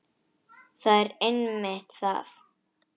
Það er einmitt það.